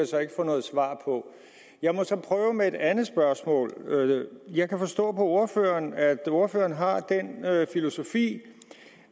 så ikke få noget svar på jeg må så prøve med et andet spørgsmål jeg kan forstå på ordføreren at ordføreren har den filosofi